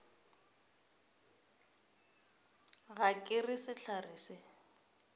ga ke re sehlare se